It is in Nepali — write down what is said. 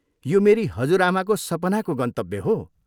यो मेरी हजुरआमाको सपनाको गन्तव्य हो।